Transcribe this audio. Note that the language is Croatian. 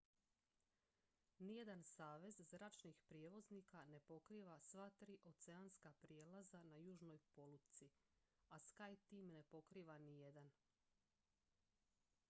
nijedan savez zračnih prijevoznika ne pokriva sva tri oceanska prijelaza na južnoj polutci a skyteam ne pokriva nijedan